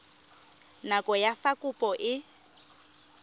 nako ya fa kopo e